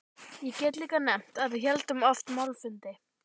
Ég get líka nefnt að við héldum oft málfundi.